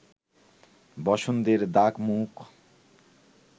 বসন্তের দাগ-মুখ